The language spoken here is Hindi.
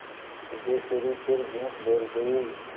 सिद्धेश्वरी फिर झूठ बोल गई